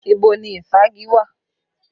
Ibo ni ìfági wà?